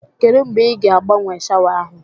Kedụ mgbe ị ga agbanwe shawa ahụ